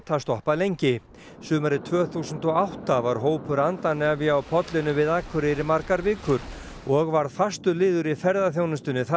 sumarið tvö þúsund og átta var hópur á pollinum við Akureyri í margar vikur og varð fastur liður í ferðaþjónustunni það sumarið